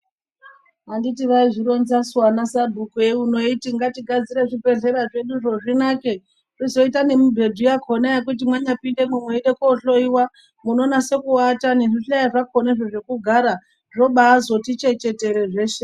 Anditi aizvironzasu anasabhuku euno eiti ngatigadzire bzvibhedhlera zveduzvo zvinake, zvizoite nemibhedhu yakhona yekuti mwanyapindemo mweide kohloyiwa munonaso kuata nezvihlayo zvakhona zvekugara zvobaazoti chechetere zveshe.